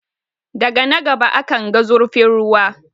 Daga na gaba akanga zurfin ruwa.